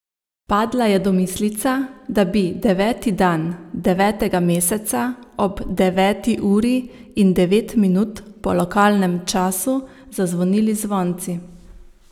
Padla je domislica, da bi deveti dan devetega meseca ob deveti uri in devet minut po lokalnem času zazvonili zvonci.